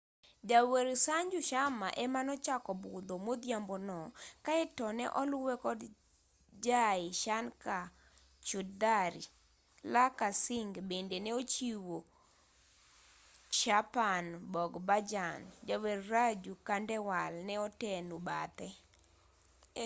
jawer sanju sharma ema nochako budho modhiambo no kaeto ne oluwe kod jai shankar choudhary lakkha singh bende ne ochiwo chhappan bhog bhajan jawer raju khandewal ne oteno bathe